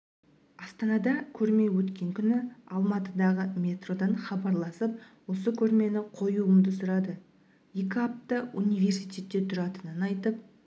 астанада көрме өткен күні алматыдағы метродан хабарласып осы көрмені қоюымды сұрады екі апта университетте тұратынын айтып